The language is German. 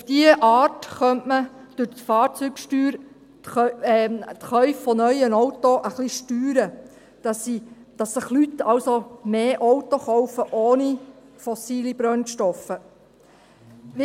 Auf diese Art könnte man durch die Fahrzeugsteuer die Käufe von neuen Autos etwas steuern, sodass sich Leute also mehr Autos ohne fossile Brennstoffe kaufen.